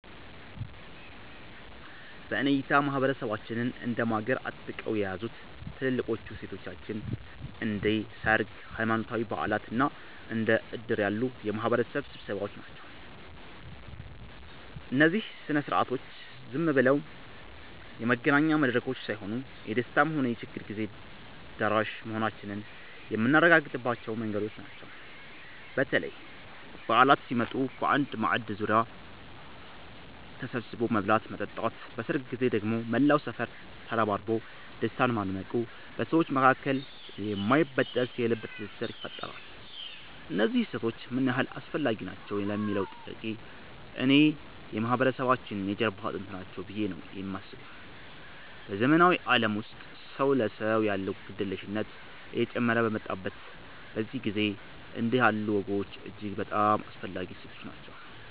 በእኔ እይታ ማህበረሰባችንን እንደ ማገር አጥብቀው የያዙት ትልልቆቹ እሴቶቻችን እንደ ሰርግ፣ ሃይማኖታዊ በዓላት እና እንደ ዕድር ያሉ የማህበረሰብ ስብሰባዎች ናቸው። እነዚህ ሥነ ሥርዓቶች ዝም ብለው የመገናኛ መድረኮች ሳይሆኑ፣ የደስታም ሆነ የችግር ጊዜ ደራሽ መሆናችንን የምናረጋግጥባቸው መንገዶች ናቸው። በተለይ በዓላት ሲመጡ በአንድ ማዕድ ዙሪያ ተሰብስቦ መብላትና መጠጣት፣ በሰርግ ጊዜ ደግሞ መላው ሰፈር ተረባርቦ ደስታን ማድመቁ በሰዎች መካከል የማይበጠስ የልብ ትስስር ይፈጥራል። እነዚህ እሴቶች ምን ያህል አስፈላጊ ናቸው ለሚለዉ ጥያቄ፣ እኔ የማህበረሰባችን የጀርባ አጥንት ናቸው ብዬ ነው የማስበው። በዘመናዊው ዓለም ውስጥ ሰው ለሰው ያለው ግድየለሽነት እየጨመረ በመጣበት በዚህ ጊዜ፣ እንዲህ ያሉ ወጎች እጅግ በጣም አስፈላጊ እሴቶች ናቸው።